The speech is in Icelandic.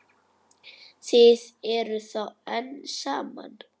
Þið eruð þá enn saman?